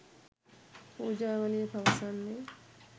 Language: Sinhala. පූජාවලිය පවසන්නේ